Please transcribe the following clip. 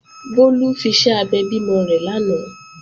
Bólú fiṣẹ́ abẹ bímọ rẹ̀ lánàá